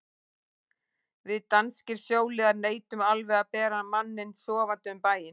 Við danskir sjóliðar neitum alveg að bera manninn sofandi um bæinn.